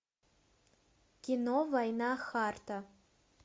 кино война харта